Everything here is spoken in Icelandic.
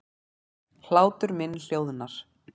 Hlátur minn hljóðar.